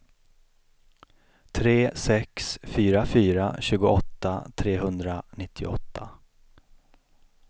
tre sex fyra fyra tjugoåtta trehundranittioåtta